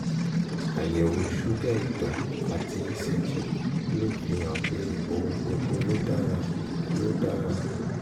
àyẹ̀wò ṣúgà ìtọ̀ àti ecg ló fihàn pé ohun gbogbo ló dára ló dára